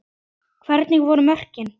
Hvernig voru mörkin?